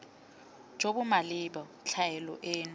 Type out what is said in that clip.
jo bo maleba tlhaelo eno